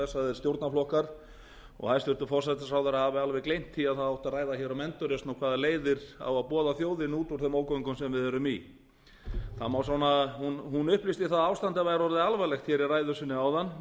stjórnarflokkar og hæstvirtur forsætisráðherra hafi alveg gleymt því að það átti að ræða um endurreisn og hvaða leiðir á að boða þjóðinni út úr þeim ógöngum sem við erum í hún upplýsti að ástandið væri orðið alvarlegt í ræðu sinni áðan og